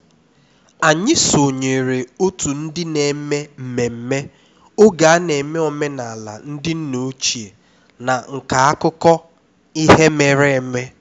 anyị sonyeere otu ndị na-eme mmemme oge a na-eme omenala ndị nna ochie na nka akụkọ ihe mere eme